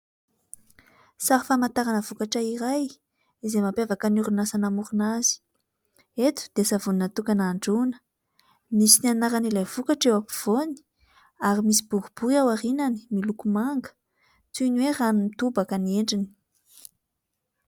Sary famantarana vokatra iray izay mapiavaka ny orina namorina azy. Eto dia savony natokana handroana, nisy ny aran'ilay vokatra eo am-povoany ary misy bohoboy ao aorianany miloko manga toy ny hoe rano mitobaka ny endriny.